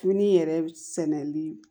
Fini yɛrɛ sɛnɛli